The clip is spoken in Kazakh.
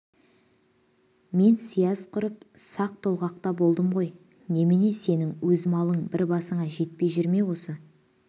мен сияз құрып сақ-тоғалақта болдым ғой немене сенің өз малың бір басыңа жетпей жүр ме осы